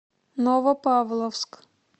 новопавловск